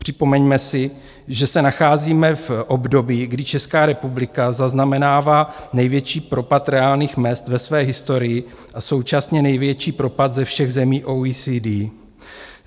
Připomeňme si, že se nacházíme v období, kdy Česká republika zaznamenává největší propad reálných mezd ve své historii a současně největší propad ze všech zemí OECD.